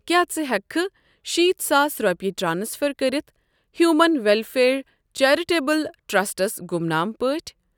کیٛاہ ژٕ ہٮ۪کہِ کھہ شيٖتھ ساس رۄپیہِ ٹرانسفرکٔرِتھ ہیٛوٗمن ویٚلفِیَر چیرِٹیبٕل ٹرٛسٹَس گُمنام پٲٹھۍ؟